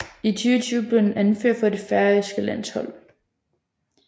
I 2020 blev han anfører for det færøske landshold